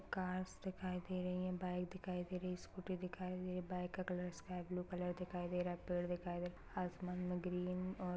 cars दिखाई दे रहीं हैं बाइक दिखाई दे रही है इस्कूटी दिखाई दे बाइक का कलर स्काय ब्लू कलर दिखाई दे रहा है पेड़ दिखाई दे रहा है आसमान मे ग्रीन और --